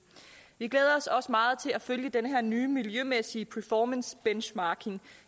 vi glæder os også meget til at følge den her nye miljømæssige performance benchmarking